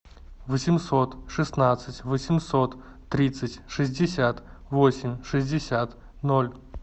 восемьсот шестнадцать восемьсот тридцать шестьдесят восемь шестьдесят ноль